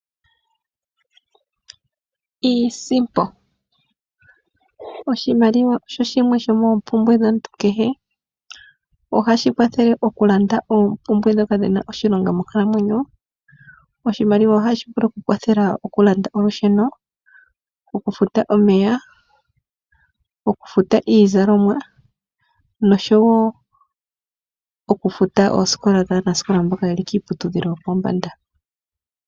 Iisimpo, oshimaliwa osho shimwe shomoompumbwe dhomuntu kehe. Ohashi kwathele oku landa oompumbwe dhoka dhina oshilonga monkalamwenyo. Oshimaliwa ohashi vulu oku kwathela oku landa olusheno, oku futa omeya, oku futa iizalomwa nosho wo oku futa oosikola dhaanasikola mboka yeli kiiputudhilo yo pombanda.